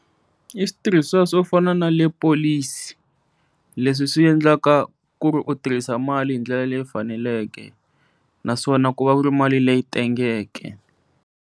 I switirhisiwa swo fana na le polisi leswi swi endlaka ku ri u tirhisa mali hi ndlela leyi faneleke naswona ku va ku ri mali leyi tengeke.